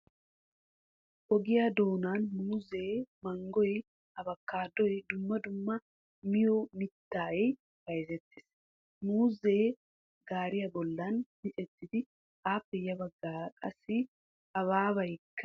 Ogiya doonan muuzee, manggoy, abokkaadoy dumma dumma miyo mittay bayzettees. Muuzee gaariya bollan micettidi, appe ya baggaara qassi habaabeekka de'ees.